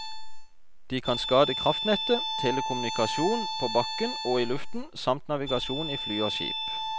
De kan skade kraftnett, telekommunikasjon på bakken og i luften, samt navigasjon i fly og skip.